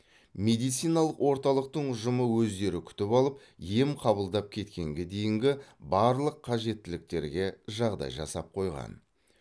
медициналық орталықтың ұжымы өздері күтіп алып ем қабылдап кеткенге дейінгі барлық қажеттіліктерге жағдай жасап қойған